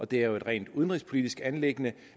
det er jo et rent udenrigspolitisk anliggende